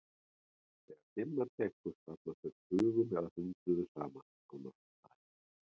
Þegar dimma tekur safnast þeir tugum eða hundruðum saman á náttstaði.